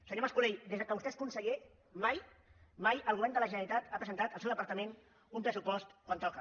senyor mas colell des que vostè és conseller mai mai el govern de la generalitat ha presentat el seu departament un pressupost quan toca